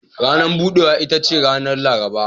Ranar budewa ita ce ranar Laraba.